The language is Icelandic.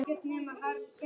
Vonandi verður þetta kósí.